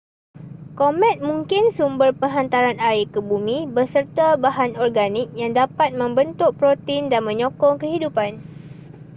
komet mungkin sumber penghantaran air ke bumi beserta bahan organik yang dapat membentuk protein dan menyokong kehidupan